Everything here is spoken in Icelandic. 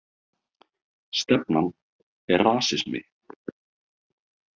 Stefnan er rasismi